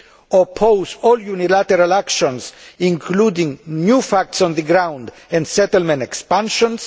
oppose all unilateral actions, including new facts on the ground and settlement expansions